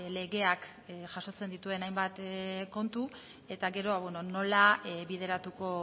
legeak jasotzen dituen hainbat kontu eta gero nola bideratuko